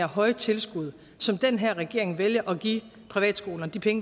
høje tilskud som den her regering vælger at give privatskolerne